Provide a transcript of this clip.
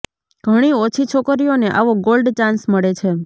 ઘણી ઓછી છોકરીઓને આવો ગોલ્ડ ચાન્સ મળે છે